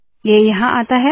ये यहाँ आता है